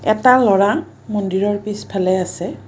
এটা ল'ৰা মন্দিৰৰ পিছফালে আছে।